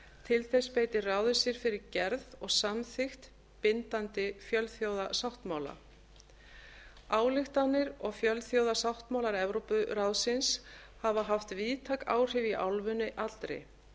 til þess beitir ráðið sér fyrir gerð og samþykkt bindandi fjölþjóðasáttmála ályktanir og fjölþjóðasáttmálar evrópuráðsins hafa haft víðtæk áhrif í álfunni allri